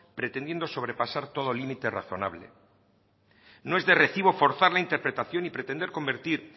pretendiendo sobrepasar todo límite razonable no es de recibo forzar la interpretación y pretender convertir